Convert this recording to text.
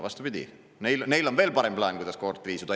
Vastupidi, neil on veel parem plaan, kuidas koort riisuda.